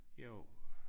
Jo